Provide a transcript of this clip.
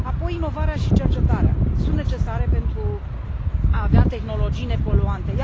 Apoi, inovarea și cercetarea sunt necesare pentru a avea tehnologii nepoluante.